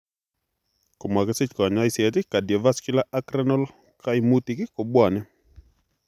Komakisich kanyoiseet cardiovascular ak renal kaimutik kobwonee